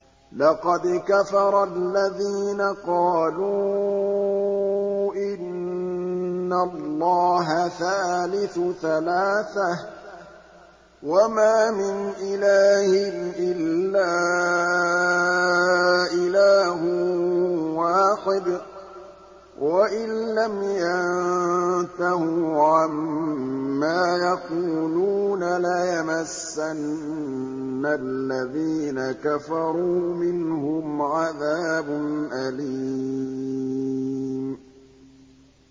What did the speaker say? لَّقَدْ كَفَرَ الَّذِينَ قَالُوا إِنَّ اللَّهَ ثَالِثُ ثَلَاثَةٍ ۘ وَمَا مِنْ إِلَٰهٍ إِلَّا إِلَٰهٌ وَاحِدٌ ۚ وَإِن لَّمْ يَنتَهُوا عَمَّا يَقُولُونَ لَيَمَسَّنَّ الَّذِينَ كَفَرُوا مِنْهُمْ عَذَابٌ أَلِيمٌ